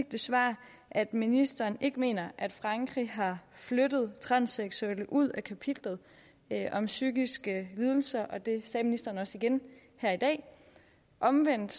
det svar at ministeren ikke mener at man i frankrig har flyttet transseksuelle ud af kapitlet om psykiske lidelser og det sagde ministeren også igen her i dag omvendt